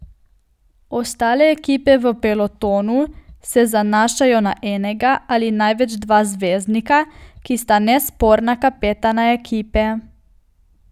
Ostale ekipe v pelotonu se zanašajo na enega ali največ dva zvezdnika, ki sta nesporna kapetana ekipe.